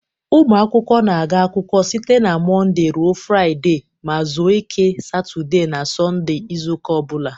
Ụmụ akwụkwọ na-aga akwụkwọ site na Mọnde ruo Fraịde ma zuo ike Satode na Sọnde izu ụka o bụla.